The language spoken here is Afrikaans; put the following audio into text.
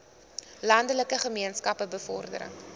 landelike gemeenskappe bevordering